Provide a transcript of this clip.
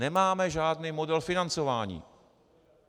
Nemáme žádný model financování.